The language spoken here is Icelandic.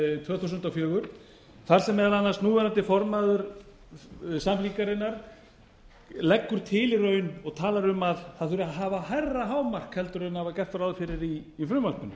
tvö þúsund og fjögur þar sem meðal annars núverandi formaður samfylkingarinnar leggur til í raun og talar um að það þurfi að hafa hærra hámark en var gert ráð fyrir í frumvarpinu